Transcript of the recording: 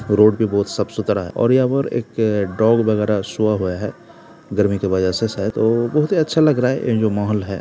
Road भी बहुत साफ़-सुथरा है और यहाँ पर एक डॉग वगेरा सोया हुआ है गर्मी की वजह से शायद ओ बहुत ही अच्छा लग रहा है ये जो महोल है।